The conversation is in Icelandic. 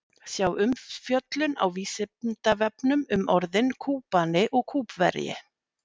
Sjá umfjöllun á Vísindavefnum um orðin Kúbani og Kúbverji.